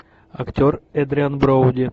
актер эдриан броуди